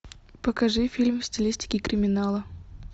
покажи фильм в стилистике криминала